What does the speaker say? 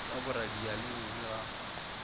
ka boradia le bobe ga